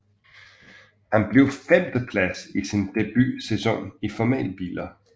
Han blev femteplads i sin debutsæson i formelbiler